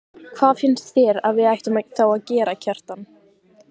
Hvað finnst þér að við ættum þá að gera, Kjartan?